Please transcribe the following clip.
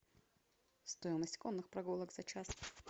стоимость конных прогулок за час